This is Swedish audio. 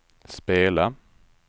spela